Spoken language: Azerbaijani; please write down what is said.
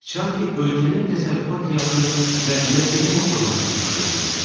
Çati ölkənin təsərrüfat həyatını və məhkəmə orqanlarını idarə eləyirdi.